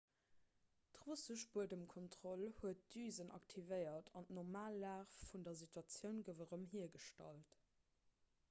d'russesch buedemkontroll huet d'düsen aktivéiert an d'normal lag vun der statioun gouf erëm hiergestallt